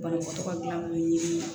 Banabaatɔ ka gilan kun ɲinini